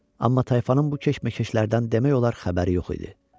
Amma tayfanın bu keşməkeşlərdən demək olar xəbəri yox idi.